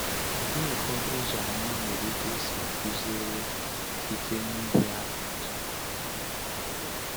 Kedu ụfọdụ ụzọ anyị nwere ike isi kụziere site n’ihe atụ?